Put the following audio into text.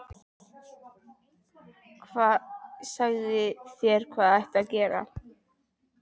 Sagði þér hvað ætti að gera.